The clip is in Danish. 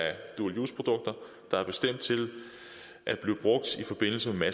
dual use produkter der er bestemt til at blive brugt i forbindelse med